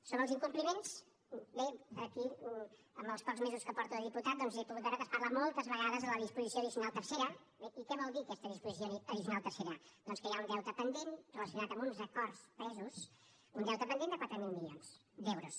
sobre els incompliments bé aquí en els pocs mesos que porto de diputat doncs he pogut veure que es parla moltes vegades de la disposició addicional tercera i què vol dir aquesta disposició addicional tercera doncs que hi ha un deute pendent relacionat amb uns acords presos un deute pendent de quatre mil milions d’euros